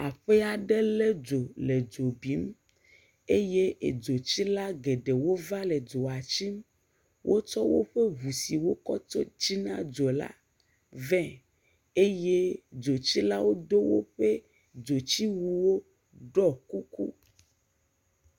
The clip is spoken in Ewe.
Aƒe aɖe lé dzo le dzo bim eye edzotsila geɖewo va le dzo tsim, wotsɔ woƒe ŋu siwo wokɔ tsina dzola vɛ eye dzotsikawo do woƒe dzotsiwuwo eye woɖɔ kuku.